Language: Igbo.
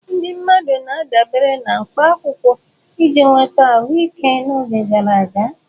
Ndị mmadụ na-adabere na mkpa akwụkwọ iji nweta ahụike n'oge gara aga.